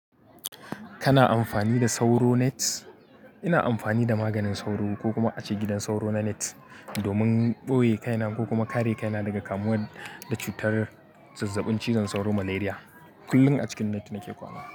Kana amfani da sauro net? Ina amfani da maganin sauro ko kuma ace gidan sauro na net domin ɓoye kaina ko kuma kare kaina daga kamuwa da cutar zazzabin cizon sauro malaria. Kullum a cikin net nake kwana.